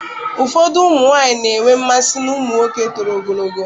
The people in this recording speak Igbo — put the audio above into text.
Ụfọdụ ụmụ nwanyị na-enwe mmasị na ụmụ nwoke toro ogologo